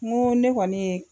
Mun ne kɔni ye